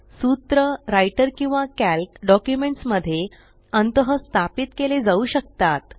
सूत्र राइटर किंवा Calc documents मध्ये अंतःस्थापित केले जाऊ शकतात